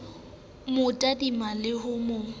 mo tadime le ho mo